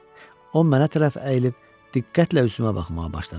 O mənə tərəf əyilib diqqətlə üzümə baxmağa başladı.